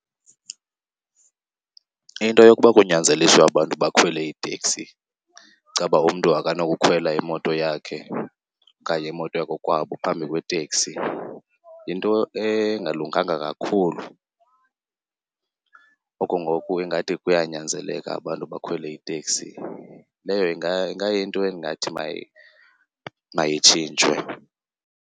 Into yokuba kunyanzeliswe abantu bakhwele iiteksi, kucaba umntu akanokukhwela imoto yakhe okanye imoto yakokwabo phambi kweteksi yinto engalunganga kakhulu. Oku ngoku ingathi kuyanyanzeleka abantu bakhwele iteksi. Leyo ingayinto endingathi mayitshintshwe.